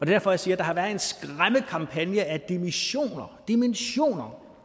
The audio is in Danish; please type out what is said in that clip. derfor jeg siger at der har været en skræmmekampagne af dimensioner dimensioner